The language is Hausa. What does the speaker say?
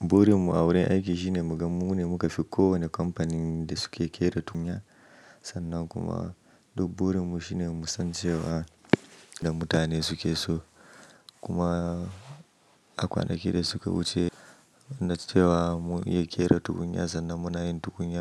Burin mu a wurin aiki shine mu gam mu ne muka fi kowane kamfanin da suke kera tukunya sannan kuma duk burin mu shine musan cewa da mutane suke so kuma a kwanakin da suka wuce na cewa mu iya kera tukunya sannan muna yin tukunya.